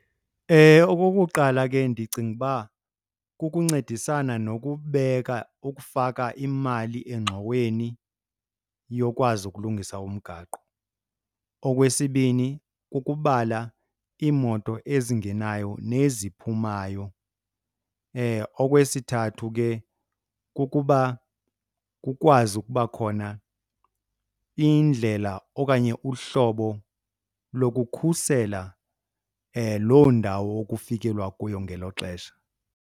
Okokuqala, ke ndicinga uba kukuncedisana nokubeka, ukufaka imali engxoweni yokwazi ukulungisa umgaqo. Okwesibini, kukubala iimoto ezingenayo neziphumayo. Okwesithathu, ke kukuba kukwazi ukuba khona indlela okanye uhlobo lokukhusela loo ndawo kufikelelwa kuyo ngelo xesha.